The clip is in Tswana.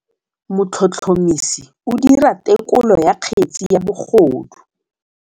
Motlhotlhomisi o dira têkolô ya kgetse ya bogodu.